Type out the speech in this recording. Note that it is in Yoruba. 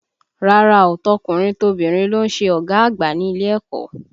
Rárá o, tọkùnrin tobìnrin ló ń ṣe ọ̀gá àgbà ní ilé ẹ̀kọ́